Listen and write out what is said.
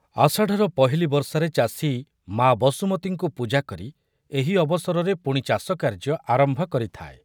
ଆଷାଢ଼ର ପହିଲି ବର୍ଷାରେ ଚାଷୀ ମା ବସୁମତୀଙ୍କୁ ପୂଜା କରି ଏହି ଅବସରରେ ପୁଣି ଚାଷକାର୍ଯ୍ୟ ଆରମ୍ଭ କରିଥାଏ ।